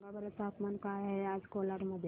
सांगा बरं तापमान काय आहे आज कोलाड मध्ये